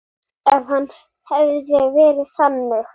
Strauk henni.